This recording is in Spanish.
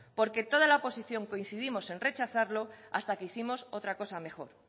porque toda la oposición coincidimos en rechazarlo hasta que hicimos otra cosa mejor